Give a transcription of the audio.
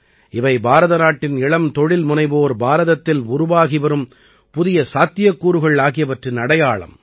இவை பாரதநாட்டின் இளம் தொழில்முனைவோர் பாரதத்தில் உருவாகி வரும் புதிய சாத்தியக்கூறுகள் ஆகியவற்றின் அடையாளம்